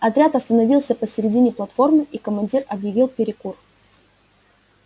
отряд остановился посередине платформы и командир объявил перекур